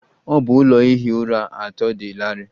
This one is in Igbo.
Ọ bụ ụlọ ihi ụra atọ dị larịị.